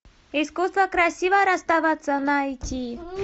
искусство красиво расставаться найти